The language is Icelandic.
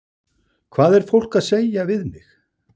Hvað er fólk að segja við mig?